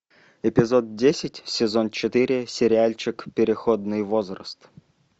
эпизод десять сезон четыре сериальчик переходный возраст